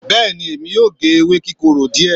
beeni emi o ge ewé kikoro die